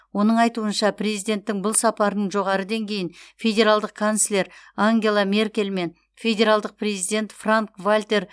оның айтуынша президенттің бұл сапарының жоғары деңгейін федералдық канцлер ангела меркельмен федералдық президент франк вальтер